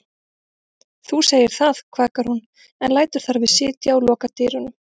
Þú segir það, kvakar hún en lætur þar við sitja og lokar dyrunum.